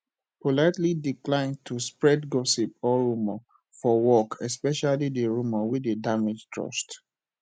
politely decline to spread gossip or rumour for work especially di rumore wey dey damage trust